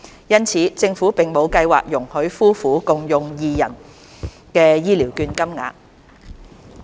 因此，政府並無計劃容許夫婦共用二人的醫療券金額。